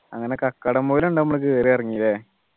അങ്ങനെ കാക്കടംപൊയില് രണ്ടു നമ്മള് കേറി അങ് ഇറങ്ങി ല്ലേ